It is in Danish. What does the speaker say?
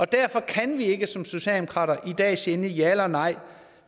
derfor kan vi som socialdemokrater i dag ikke sige endeligt ja eller nej